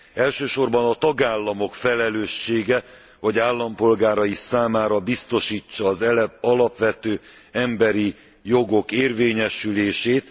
Elsősorban a tagállamok felelőssége, hogy állampolgárai számára biztosítsa az alapvető emberi jogok érvényesülését.